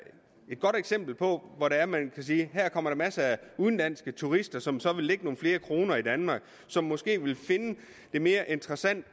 et godt eksempel på at man kan sige at komme masser af udenlandske turister som så vil lægge nogle flere kroner i danmark og som måske vil finde det mere interessant